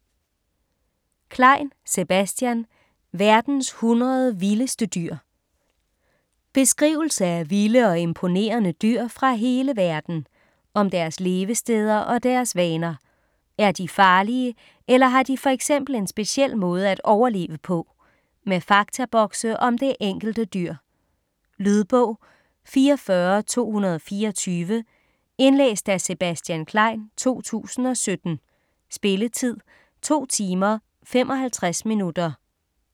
Klein, Sebastian: Verdens 100 vildeste dyr Beskrivelse af vilde og imponerende dyr fra hele verden. Om deres levesteder og deres vaner. Er de farlige eller har de for eksempel en speciel måde at overleve på? Med faktabokse om det enkelte dyr. Lydbog 44224 Indlæst af Sebastian Klein, 2017. Spilletid: 2 timer, 55 minutter.